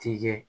Tɛ